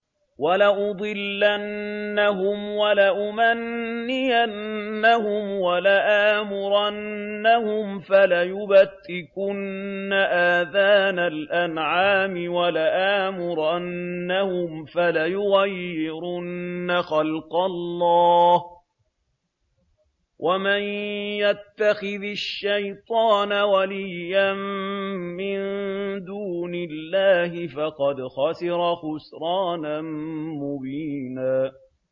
وَلَأُضِلَّنَّهُمْ وَلَأُمَنِّيَنَّهُمْ وَلَآمُرَنَّهُمْ فَلَيُبَتِّكُنَّ آذَانَ الْأَنْعَامِ وَلَآمُرَنَّهُمْ فَلَيُغَيِّرُنَّ خَلْقَ اللَّهِ ۚ وَمَن يَتَّخِذِ الشَّيْطَانَ وَلِيًّا مِّن دُونِ اللَّهِ فَقَدْ خَسِرَ خُسْرَانًا مُّبِينًا